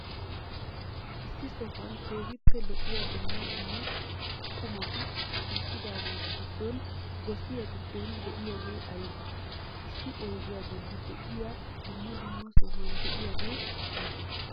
issi sohuwan keehippe lo7iya duummaa duummaa qumaati shiqqidageetu giddon gossiyaa giddon de7iyaagee aybee? issi oyddiya bollan de7iya duummaa duummaa sohuwan de7iyaagee aybee?